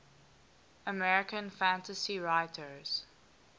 american fantasy writers